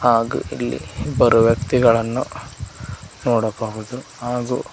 ಹಾಗೂ ಇಲ್ಲಿ ಇಬ್ಬರು ವ್ಯಕ್ತಿಗಳನ್ನು ನೋಡಬಹುದು ಹಾಗೂ--